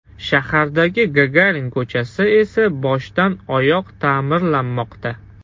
Shahardagi Gagarin ko‘chasi esa boshdan-oyoq ta’mirlanmoqda .